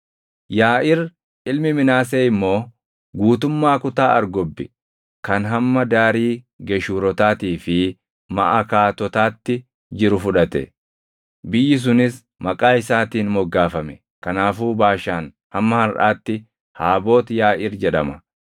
Yaaʼiir ilmi Minaasee immoo guutummaa kutaa Argobbi kan hamma daarii Geshuurotaatii fi Maʼakaatotaatti jiru fudhate; biyyi sunis maqaa isaatiin moggaafame; kanaafuu Baashaan hamma harʼaatti Haaboot Yaaʼiir jedhama.